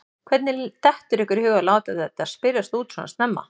Hvernig dettur ykkur í hug að láta þetta spyrjast út svona snemma?